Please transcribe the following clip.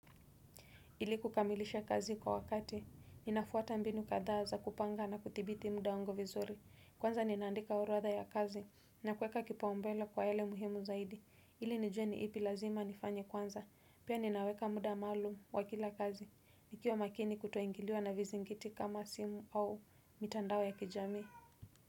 Ili kukamilisha kazi kwa wakati, ninafuata mbinu kadhaa za kupanga na kudhibiti muda wangu vizuri. Kwanza ninaandika oroatha ya kazi, na kuweka kipa umbele kwa yale muhimu zaidi. Ili nijue ni ipi lazima nifanye kwanza, pia ninaweka muda maalum wa kila kazi. Nikiwa makini kutoingiliwa na vizingiti kama simu au mitandao ya kijamii.